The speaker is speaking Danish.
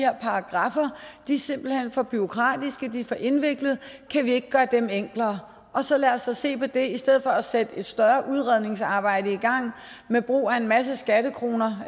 og paragraffer er simpelt hen for bureaukratiske de er for indviklede kan vi ikke gøre dem enklere og så lad os da se på det i stedet for at sætte et større udredningsarbejde i gang med brug af en masse skattekroner